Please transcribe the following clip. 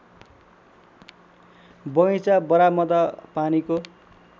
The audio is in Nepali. बगैँचा बरामदा पानीको